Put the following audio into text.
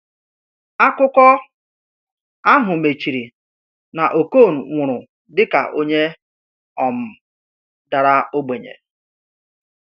Akụkọ ahụ mechiri na Okon nwụrụ dịka onye um dara ogbenye.